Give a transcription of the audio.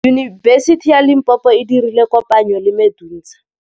Yunibesiti ya Limpopo e dirile kopanyô le MEDUNSA.